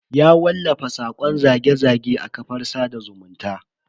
Ya wallafa sakon zage-zage a kafar sada zumunta.